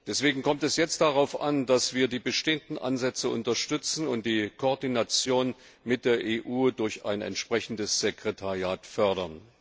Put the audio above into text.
Deswegen kommt es jetzt darauf an, dass wir die bestehenden Ansätze unterstützen und die Koordination mit der EU durch ein entsprechendes Sekretariat fördern.